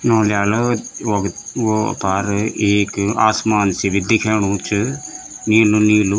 यों ल्यालो वख वो अफार एक आसमान सी भी दिख्येणु च नीलू नीलू।